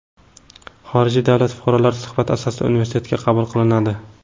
Xorijiy davlat fuqarolari suhbat asosida universitetga qabul qilinadi.